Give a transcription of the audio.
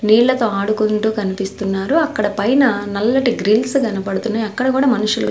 నీళ్లతో ఆడుకుంటూ కనిపిస్తున్నారు అక్కడ పైన నల్లటి గ్రిల్స్ కనబడుతున్నాయి అక్కడ కూడా మనుషులు--